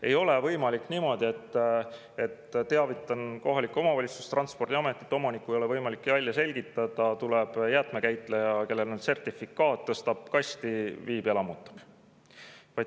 Ei ole võimalik niimoodi, et teavitan kohalikku omavalitsust, Transpordiametit, omanikku ei ole võimalik välja selgitada, tuleb jäätmekäitleja, kellel on sertifikaat, tõstab kasti, viib ära ja lammutab.